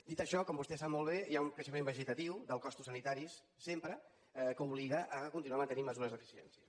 dit això com vostè sap molt bé hi ha un creixement vegetatiu dels costos sanitaris sempre que obliga a continuar mantenint mesures d’eficiència